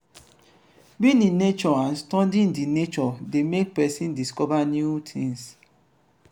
being in nature and studying di nature de make make persin discover new things